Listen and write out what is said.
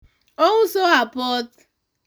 ouso apoth